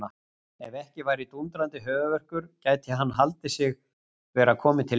Ef ekki væri dúndrandi höfuðverkur gæti hann haldið sig vera kominn til himna.